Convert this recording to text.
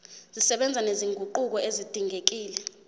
zisebenza nezinguquko ezidingekile